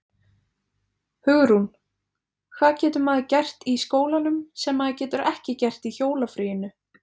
Hugrún: Hvað getur maður gert í skólanum sem maður getur ekki gert í jólafríinu?